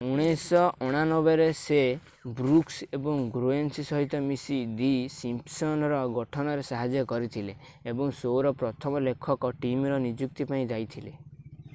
1989ରେ ସେ ବ୍ରୁକ୍ସ ଏବଂ ଗ୍ରୋଏନିଂ ସହିତ ମିଶି ଦି ସିମ୍ପସନ୍"ର ଗଠନରେ ସାହାଯ୍ୟ କରିଥିଲେ ଏବଂ ଶୋ’ର ପ୍ରଥମ ଲେଖକ ଟିମ୍‌ର ନିଯୁକ୍ତି ପାଇଁ ଦାୟୀ ଥିଲେ।